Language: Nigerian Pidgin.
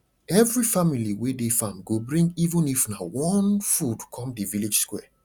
every family wey dey farm go bring even if na one food come the village square